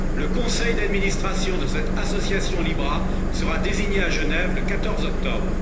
Le conseil d'administration de cette association Libra sera désigné à Genève le 14 octobre.